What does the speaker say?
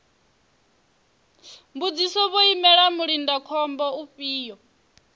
mbudziso vho imela mulindakhombo ufhio